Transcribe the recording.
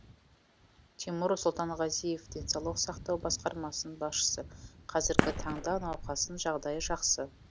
тимур сұлтанғазиев денсаулық сақтау басқармасының басшысы қазіргі таңда науқастың жағдайы жақсы